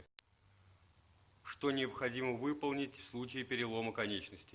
что необходимо выполнить в случае перелома конечностей